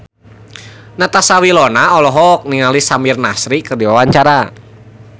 Natasha Wilona olohok ningali Samir Nasri keur diwawancara